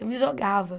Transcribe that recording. Eu me jogava.